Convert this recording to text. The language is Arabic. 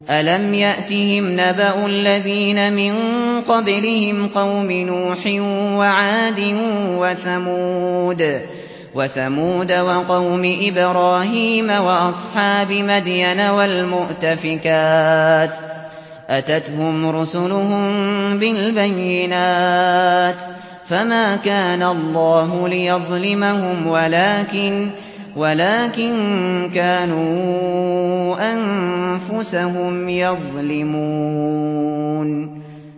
أَلَمْ يَأْتِهِمْ نَبَأُ الَّذِينَ مِن قَبْلِهِمْ قَوْمِ نُوحٍ وَعَادٍ وَثَمُودَ وَقَوْمِ إِبْرَاهِيمَ وَأَصْحَابِ مَدْيَنَ وَالْمُؤْتَفِكَاتِ ۚ أَتَتْهُمْ رُسُلُهُم بِالْبَيِّنَاتِ ۖ فَمَا كَانَ اللَّهُ لِيَظْلِمَهُمْ وَلَٰكِن كَانُوا أَنفُسَهُمْ يَظْلِمُونَ